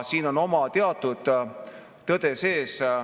Siin on oma teatud tõde sees.